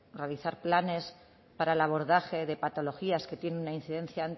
realizar planes para el abordaje de patologías que tienen una incidencia